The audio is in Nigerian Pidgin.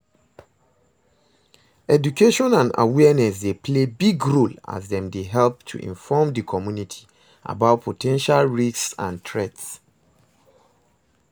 education and awareness dey play big role as dem dey help to inform di community about po ten tial risks and threats.